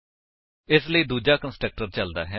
ਇਸ ਲਈ ਦੂਜਾ ਕੰਸਟਰਕਟਰ ਚਲਦਾ ਹੈ